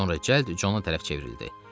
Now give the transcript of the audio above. Sonra cəld Cona tərəf çevrildi.